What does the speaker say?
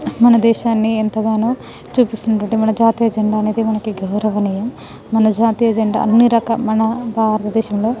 మన దేహ్సాని ఎంత గానో చుపెస్తునది మన జాతీయ జెండా అనేది మనకి గౌరవనీయం మన జాతీయ జెండా అన్నిరకాల మన బారత దేశము లో --